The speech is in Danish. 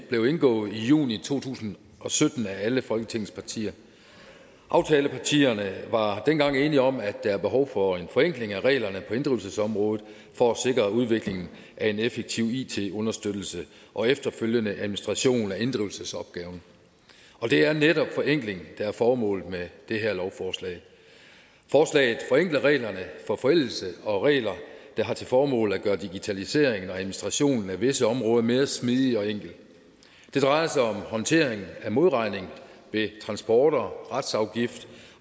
blev indgået i juni to tusind og sytten af alle folketingets partier aftalepartierne var dengang enige om at der er behov for en forenkling af reglerne på inddrivelsesområdet for at sikre udviklingen af en effektiv it understøttelse og efterfølgende administration af inddrivelsesopgaven og det er netop forenkling der er formålet med det her lovforslag forslaget forenkler reglerne for forældelse og regler der har til formål at gøre digitaliseringen og administrationen af visse områder mere smidig og enkel det drejer sig om håndtering af modregning ved transporter retsafgift